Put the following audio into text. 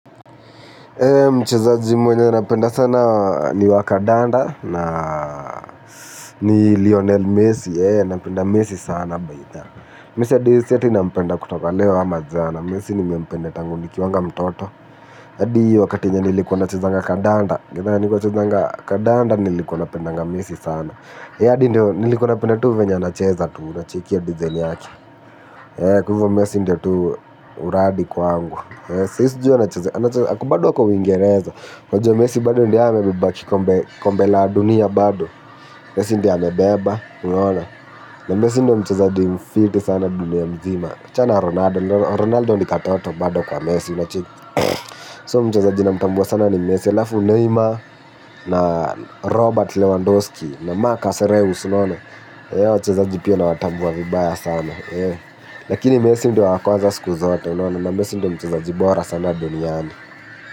Mchezaji mwenye napenda sana ni wa kandanda na ni Lionel Messi, napenda Messi sana by the way. Messi adi si ati nampenda kutoka leo ama jana. Messi nimempenda tangu nikiwanga mtoto. Adi wakati yenye nilikuwa nachezaga kadanda. Nilikuwa nachezanga kandanda nilikuwa napendaga Messi sana. Adi ndo nilikuwa napenda tu venye anacheza tu, unacheki hyo dizaini yake. Kwa hivyo messi ndio tu uradi kwangu. Sai sjui anacheza anacheza bado ako uingereza unajua messi bado ndo yeye amebeba kombe la dunia bado. Messi ndiye amebeba unaona na messi ndo mchazaji mfiti sana dunia mzima achana na Ronaldo Ronaldo ni katoto bado kwa messi unacheki, So mchezaji namtambua sana ni Messi alafu Neymar na Robert Lewandowski Na Marcus Lewis Hawa wachezaji pia nawatambua vibaya sana. Lakini Messi ndo wa kwanza siku zote unaona na messi ndo mchezaji bora sana duniani.